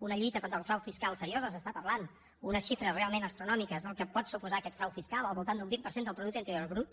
una lluita contra el frau fiscal seriosa s’està parlant d’unes xifres realment astronòmiques del que pot suposar aquest frau fiscal al voltant d’un vint per cent del producte interior brut